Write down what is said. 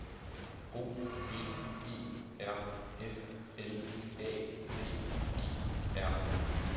O V E R F L A D E R